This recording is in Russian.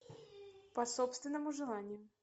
по собственному желанию